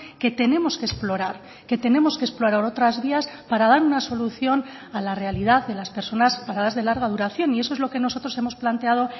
que tenemos que explorar que tenemos que explorar otras vías para dar una solución a la realidad de las personas paradas de larga duración y eso es lo que nosotros hemos planteado